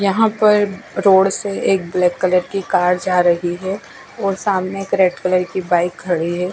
यहाँ पर रोड से एक ब्लैक कलर की कार जा रही है और सामने एक रेड कलर की बाइक खड़ी है।